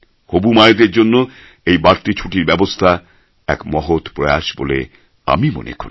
হবু মায়েদের জন্য এই বাড়তি ছুটির ব্যবস্থা এক মহৎ প্রয়াস বলে আমি মনে করি